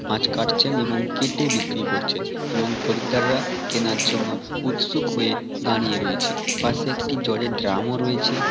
মাছ কাটছেন এবং কেটে বিক্রি করছেন এবং খরিদ্দাররা কেনার জন্য উৎসুক হয়ে দাঁড়িয়ে রয়েছে। পাশে একটি জলের ড্রাম ও রয়েছে ।